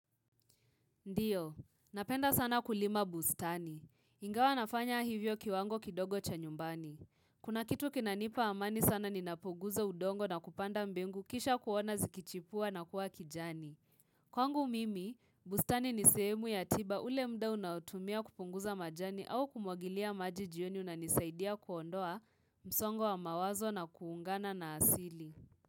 Ndiyo, napenda sana kulima bustani. Ingawa nafanya hivyo kiwango kidogo cha nyumbani. Kuna kitu kinanipa amani sana ninapoguza udongo na kupanda mbengu kisha kuona zikichipua na kuwa kijani. Kwangu mimi, bustani ni sehemu ya tiba ule muda unaotumia kupunguza majani au kumwagilia maji jioni unanisaidia kuondoa msongo wa mawazo na kuungana na asili.